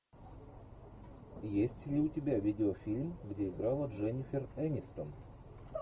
есть ли у тебя видеофильм где играла дженифер энистон